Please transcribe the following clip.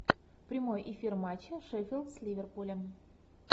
прямой эфир матча шеффилд с ливерпулем